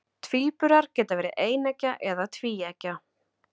tvíburar geta verið eineggja eða tvíeggja